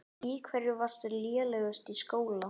Í hverju varstu lélegust í skóla?